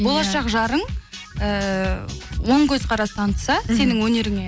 болашақ жарың ііі оң көзқарас танытса сенің өнеріңе